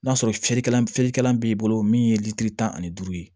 N'a sɔrɔ ferekɛl ferekɛlan b'i bolo min ye litiri tan ani duuru ye